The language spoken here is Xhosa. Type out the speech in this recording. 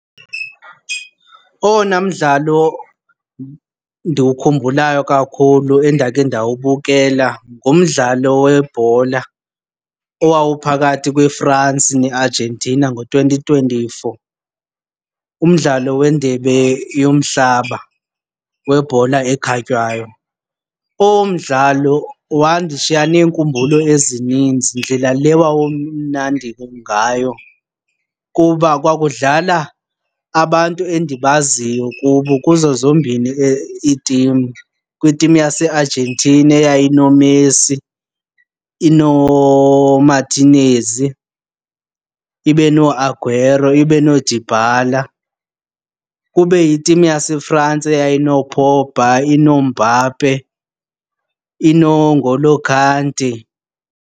Owona mdlalo ndiwukhumbulayo kakhulu endakhe ndawubukela ngumdlalo webhola owawuphakathi kweFrance neArgentina ngo-twenty twenty-four umdlalo weNdebe yoMhlaba weBhola eKhatywayo. Owo mdlalo wandishiya neenkumbulo ezininzi ndlela le wawumnandi ngayo kuba kwakudlala abantu endibaziyo kubo kuzo zombini iitim. Kwitim yaseArgentina eyayinoMessi, inoMartinez, ibe nooAguero, ibe nooDybala. Kube yitim yaseFrance eyayinooPogba, inooMbappe, inooN'Golo Kante.